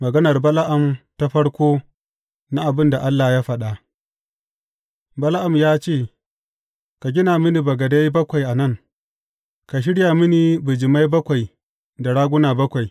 Maganar Bala’am ta farko na abin da Allah ya faɗa Bala’am ya ce, Ka gina mini bagadai bakwai a nan, ka shirya mini bijimai bakwai da raguna bakwai.